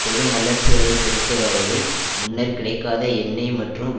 பெரும் வல்லரசுகளைப் பொறுத்தவரையில் முன்னர் கிடைக்காத எண்ணெய் மற்றும்